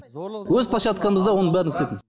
өз площадкамызда оның бәрін